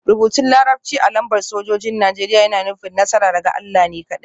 Rubutun Larabci a lambar sojojin Najeriya yana nufin; Nasara daga Allah ne kaɗai